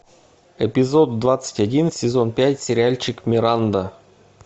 эпизод двадцать один сезон пять сериальчик миранда